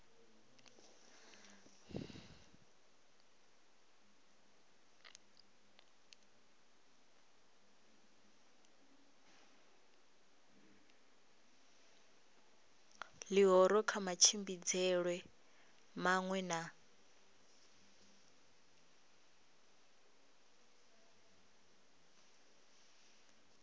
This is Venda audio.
ḽihoro kha matshimbidzelwe maṅwe na